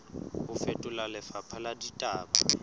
ho fetola lefapha la ditaba